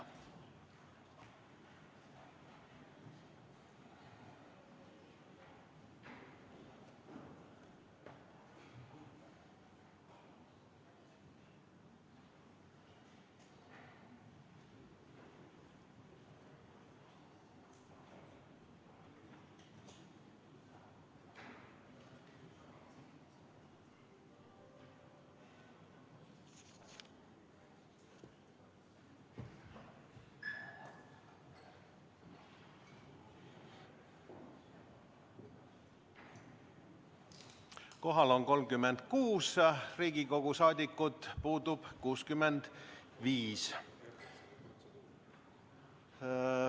Kohal on 36 Riigikogu liiget, puudub 65.